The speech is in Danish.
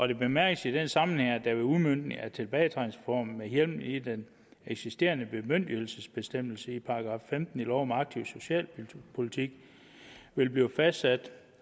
det bemærkes i den sammenhæng at der ved udmøntningen af tilbagetrækningsreformen med hjemmel i den eksisterende bemyndigelsesbestemmelse i § femten i lov om aktiv socialpolitik vil blive fastsat